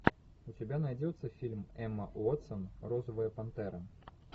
у тебя найдется фильм эмма уотсон розовая пантера